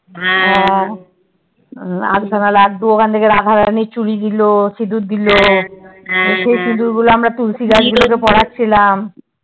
হ্যা আধখানা লাড্ডু ওখানে রাখা চুড়ি দিলো সিঁদুর দিলো সেই সিঁদুর গুলো আমরা তুলসী কাচগুলোতে পড়াচ্ছিলাম